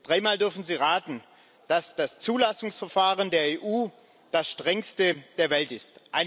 Dreimal dürfen Sie raten dass das Zulassungsverfahren der EU das strengste der Welt ist!